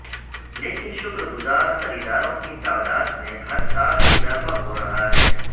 لیکن شکر گزار خریداروں کی تعداد میں ہر سال اضافہ ہو رہا ہے